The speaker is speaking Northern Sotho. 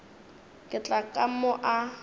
ka tla ka mo a